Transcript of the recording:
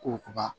Koba